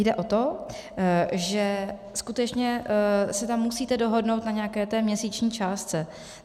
Jde o to, že skutečně se tam musíte dohodnout na nějaké té měsíční částce.